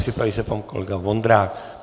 Připraví se pan kolega Vondrák.